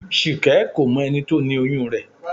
Ṣìkẹ́ kò mọ ẹni tó ni oyún rẹ̀